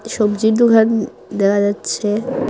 সব্জীর দুকান দেখা যাচ্ছে।